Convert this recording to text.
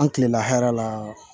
An kilen hɛrɛ la